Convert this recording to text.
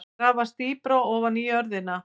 Grafast dýpra ofan í jörðina.